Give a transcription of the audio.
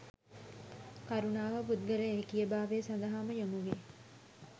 කරුණාව පුද්ගල ඒකීය භාවය සඳහා ම යොමුවේ.